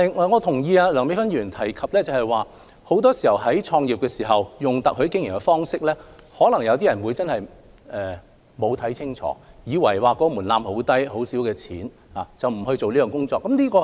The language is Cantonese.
我同意梁美芬議員所說，有些人在決定以特許經營的方式創業時，可能沒有看清楚情況，以為門檻很低，只需一筆很小的資金即可，便不予深入研究。